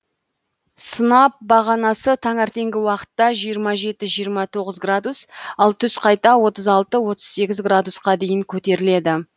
сынап бағанасы таңертеңгі уақытта жиырма жеті жиырма тоғыз градус ал түс қайта отыз алты отыз сегіз градусқа дейін көтеріледі